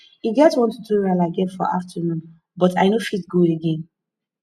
e get one tutorial i get for afternoon but i no go fit go again